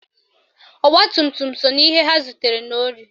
Ọgbatumtum so na ihe ndị ha zutere n'ohi